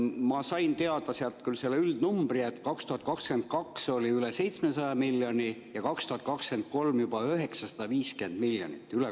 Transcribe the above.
Ma sain sealt teada üldnumbri: 2022 oli ülekantavat kulu üle 700 miljoni ja 2023 on juba 950 miljonit.